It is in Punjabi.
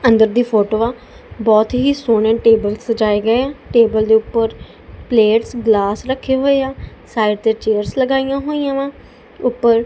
ਅੰਦਰ ਦੀ ਫੋਟੋ ਆ ਬਹੁਤ ਹੀ ਸੋਹਣੇ ਟੇਬਲ ਸਜਾਏ ਗਏ ਆ ਟੇਬਲ ਦੇ ਉੱਪਰ ਪਲੇਟਸ ਗਲਾਸ ਰੱਖੇ ਹੋਏ ਆ ਸਾਈਡ ਤੇ ਚੇਅਰਸ ਲਗਾਈਆਂ ਹੋਈਆਂ ਵਾ ਉਪਰ--